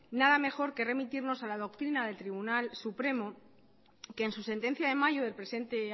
nada mejor que remitirnos a la doctrina del tribunal supremo que en su sentencia de mayo del presente